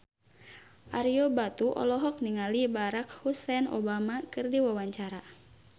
Ario Batu olohok ningali Barack Hussein Obama keur diwawancara